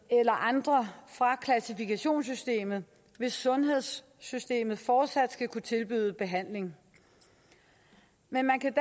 eller andre fra klassifikationssystemet hvis sundhedssystemet fortsat skal kunne tilbyde behandling man kan